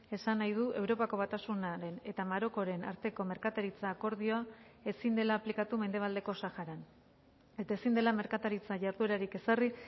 esan nahi du europako batasunaren eta marokoren arteko merkataritza akordioa ezin dela aplikatu mendebaldeko saharan eta ezin dela merkataritza jarduerarik ezarri